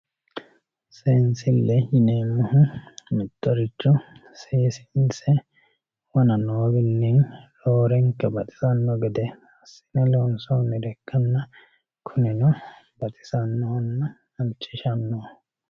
seensille yineemmohu mittoricho seesiinse wona noowiinni roorenka baxisanno gede assine loonsoonnire ikkanna kunino baxisannohonna halchishannoho.